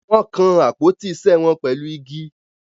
Wọ́n kan àpótí isẹ́ wọn pẹ̀lú igi.